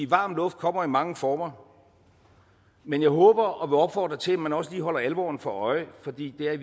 varm luft kommer i mange former men jeg håber og vil opfordre til at man også lige holder sig alvoren for øje for det er i